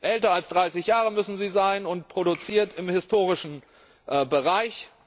älter als 30Jahre müssen sie sein und produziert im historischen Bereich.